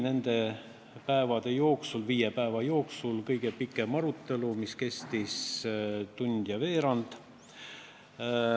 Nende viie päeva jooksul oli kõige pikema arutelu kestus tund ja veerand.